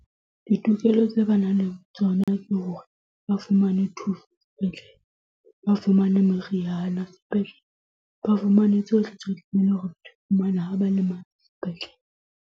Ditokelo tse ba nang le tsona ke hore ba fumane thuso sepetlele, ba fumane meriana sepetlele, ba fumane tsohle tse leng hore ba di fumane ha ba le sepetlele.